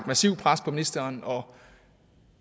massivt pres på ministeren og